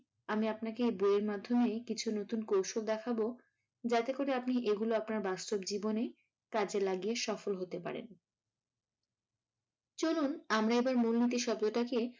আমি আপনাকে এই বইয়ের মাধ্যমেই কিছু নতুন কৌশল দেখাবো যাতে করে আপনি এগুলো আপনার বাস্তব জীবনে কাজে লাগিয়ে সফল হতে পারেন। চলুন আমরা এবার মূলনীতির শব্দ টাকে